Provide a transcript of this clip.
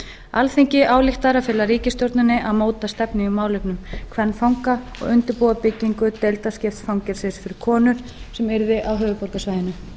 alþingi ályktar að fela ríkisstjórninni að móta stefnu í málefnum kvenfanga og undirbúa byggingu deildaskipts fangelsis fyrir konur sem yrði á höfuðborgarsvæðinu